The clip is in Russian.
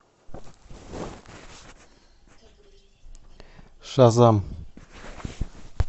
шазам